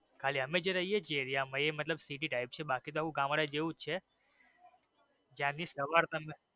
ખાલી અમે જે રહીયે છીએ એ મતલબ ખાલી city type છે બાકી તો એવું ગામડા જેવું જ છે જ્યાં ની સવાર.